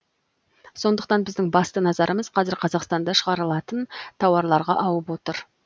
сондықтан біздің басты назарымыз қазір қазақстанда шығарылатын тауарларға ауып отыр